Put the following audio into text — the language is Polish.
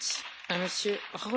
Pani Przewodnicząca!